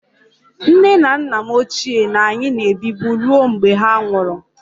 Nne na nna m ochie na anyị na-ebibu ruo mgbe ha nwụrụ